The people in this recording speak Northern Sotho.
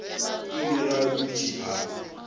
ile ge a dutše a